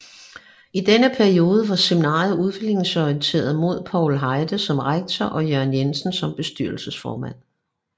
I denne periode var seminariet udviklingsorienteret med Paul Heide som rektor og Jørgen Jensen som bestyrelsesformand